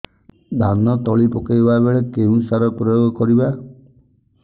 ଧାନ ତଳି ପକାଇବା ବେଳେ କେଉଁ ସାର ପ୍ରୟୋଗ କରିବା